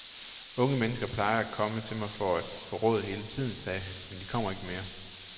Unge mennesker plejede at komme til mig for at få råd hele tiden, sagde han, men de kommer ikke mere.